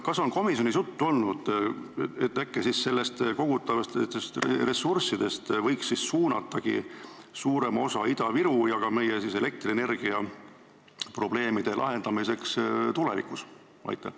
Kas komisjonis on olnud juttu, äkki võiks kogutavatest ressurssidest suunata suurema osa Ida-Viru ja meie elektrienergiatootmise probleemide lahendamiseks?